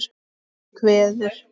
Hún kveður.